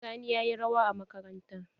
Sani ya yi rawa a makaranta.